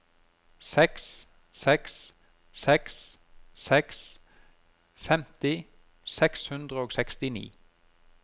seks seks seks seks femti seks hundre og sekstini